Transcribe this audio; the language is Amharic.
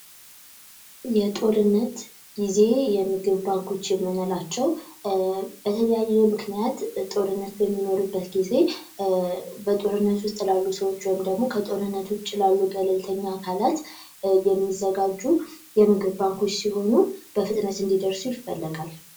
የጦርነት ጊዜ የምግብ ባንኮች የምንላቸው በተለያዩ ምክንያት ጦርነት በሚኖርበት ጊዜ በጦርነት ውስጥ ላሉ ሰዎች ወይም ደግሞ፤ ከጦርነቱ ውጪ ላሉ ገለልተኛ አካላት የሚዘጋጁ የምግብ ባንኮች ሲሆኑ በፍጥነት እንዲደርሱ ይፈልጋል።